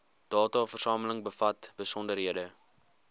dataversameling bevat besonderhede